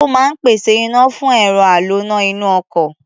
Ó máa ń pèsè iná fún ẹ̀rọ aloná inú ọkọ̀.